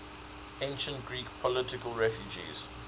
ancient greek political refugees